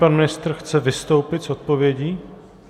Pan ministr chce vystoupit s odpovědí?